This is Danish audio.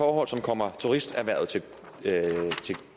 også kommer turisterhvervet